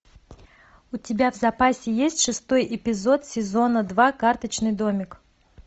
у тебя в запасе есть шестой эпизод сезона два карточный домик